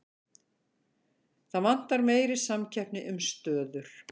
Það vantar meiri samkeppni um stöður